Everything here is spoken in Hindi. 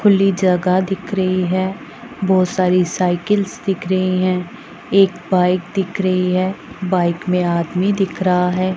खुली जगह दिख रही है बहोत सारी साइकिल्स दिख रही हैं एक बाइक दिख रही है बाइक में आदमी दिख रहा है।